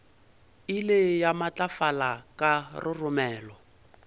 ile ya matlafala ka roromela